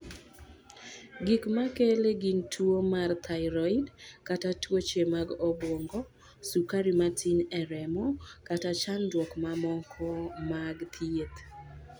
Gik ma kele gin tuwo mar thyroid kata tuoche mag obwongo, sukari matin e remo kata chandruok mamoko mag thieth.